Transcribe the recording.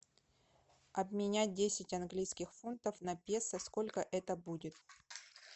обменять десять английских фунтов на песо сколько это будет